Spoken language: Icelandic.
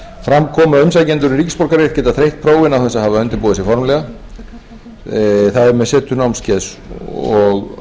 fram kom að umsækjendur um ríkisborgararétt geta þreytt prófin án þess að hafa undirbúið sig formlega það er með setu námskeiðs og